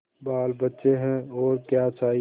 बालबच्चे हैं और क्या चाहिए